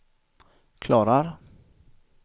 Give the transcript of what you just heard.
klarar